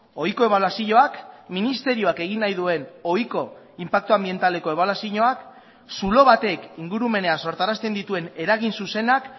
ohiko ebaluazioak ministerioak egin nahi duen ohiko inpaktu anbientaleko ebaluazioak zulo batek ingurumenean sortarazten dituen eragin zuzenak